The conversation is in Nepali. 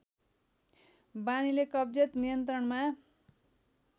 बानीले कब्जियत नियन्त्रणमा